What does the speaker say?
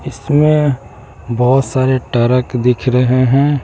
इसमें बहुत सारे टरक दिख रहे हैं।